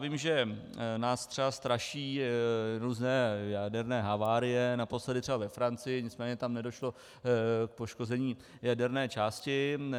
Vím, že nás třeba straší různé jaderné havárie, naposledy třeba ve Francii, nicméně tam nedošlo k poškození jaderné části.